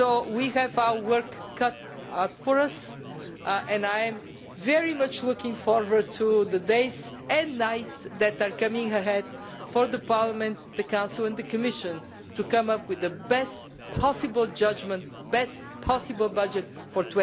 We have our work cut out for us, and I am very much looking forward to the days and nights that are coming ahead for Parliament, the Council and the Commission to come up with the best possible judgement, the best possible budget for